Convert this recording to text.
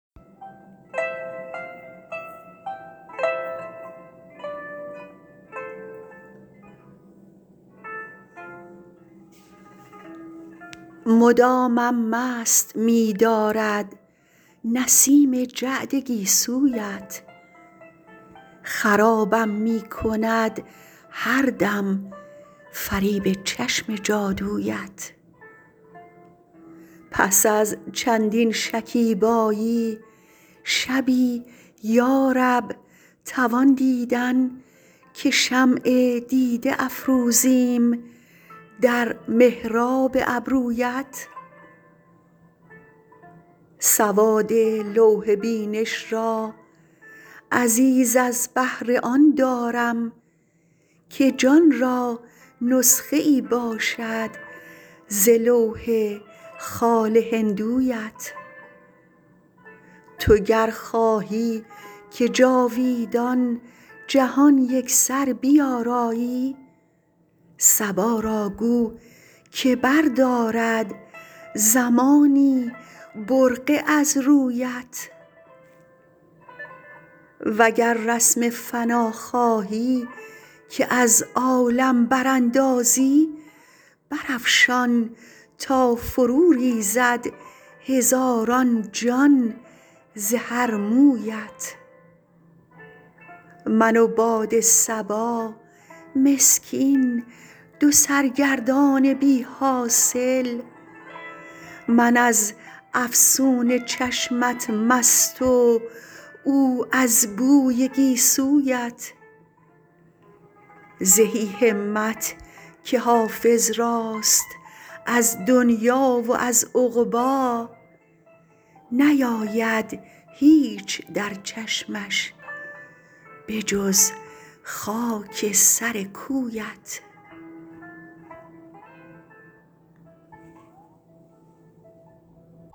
مدامم مست می دارد نسیم جعد گیسویت خرابم می کند هر دم فریب چشم جادویت پس از چندین شکیبایی شبی یا رب توان دیدن که شمع دیده افروزیم در محراب ابرویت سواد لوح بینش را عزیز از بهر آن دارم که جان را نسخه ای باشد ز لوح خال هندویت تو گر خواهی که جاویدان جهان یکسر بیارایی صبا را گو که بردارد زمانی برقع از رویت و گر رسم فنا خواهی که از عالم براندازی برافشان تا فروریزد هزاران جان ز هر مویت من و باد صبا مسکین دو سرگردان بی حاصل من از افسون چشمت مست و او از بوی گیسویت زهی همت که حافظ راست از دنیی و از عقبی نیاید هیچ در چشمش به جز خاک سر کویت